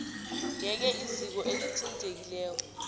yeke iziko elithintekileko